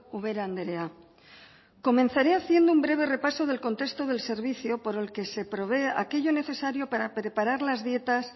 ubera andrea comenzaré haciendo un breve repaso del contexto del servicio por el que se provee aquello necesario para preparar las dietas